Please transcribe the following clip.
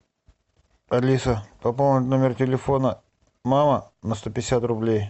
алиса пополнить номер телефона мама на сто пятьдесят рублей